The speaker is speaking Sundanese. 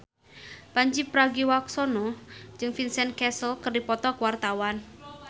Pandji Pragiwaksono jeung Vincent Cassel keur dipoto ku wartawan